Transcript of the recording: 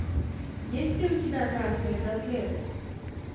есть ли у тебя красные браслеты